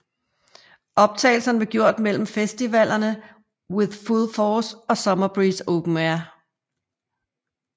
Optagelserne blev gjort mellem festivalerne With Full Force og Summer Breeze Open Air